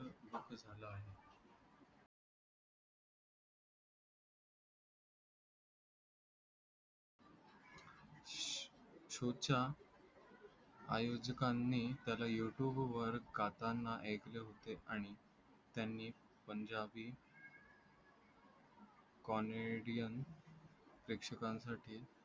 शोच्या आयोजकांनी त्याला youtube वर काचांना ऐकले होते आणि त्यांनी पंजाबी comedian प्रेक्षक का सठी